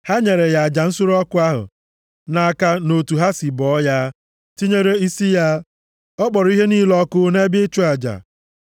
Ha nyefere ya aja nsure ọkụ ahụ nʼaka nʼotu ha sị bọọ ya, tinyere isi ya. Ọ kpọrọ ihe niile ọkụ nʼebe ịchụ aja.